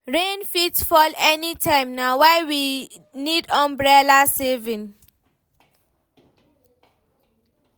Rain fit fall anytime, na why we need umbrella savings.